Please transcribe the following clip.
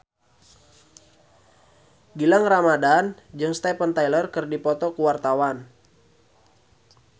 Gilang Ramadan jeung Steven Tyler keur dipoto ku wartawan